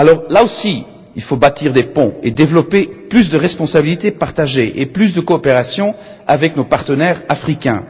Là aussi, il faut bâtir des ponts et développer plus de responsabilités partagées et de coopération avec nos partenaires africains.